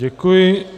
Děkuji.